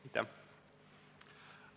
Aitäh!